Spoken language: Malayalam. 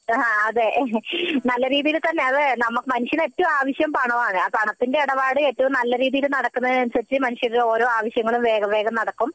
അതെ നല്ല രീതിയിൽ തന്നെ അതെ മനുഷ്യന് ഏറ്റവും ആവശ്യം പണമാണ് ആ പണത്തിന്റെ ഇടപാട് ഏറ്റവും നല്ല രീതിയിൽ നടക്കുന്നതിനു അനുസരിച്ചു മനുഷ്യന്റെ ഓരോ ആവശ്യങ്ങളും വേഗം വേഗം നടക്കും